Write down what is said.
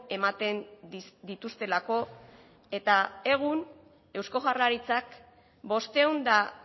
ematen dituztelako eta egun eusko jaurlaritzak bostehun eta